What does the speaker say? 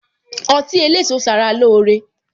Ọtí eléso sara lóore